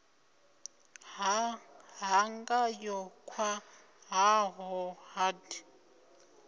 ha ṱhanga yo khwaṱhaho hard